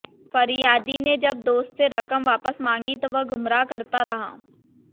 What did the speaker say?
फरियादी ने जब दोस्त से रकम वापस मांगी तो वह गुमराह करता रहा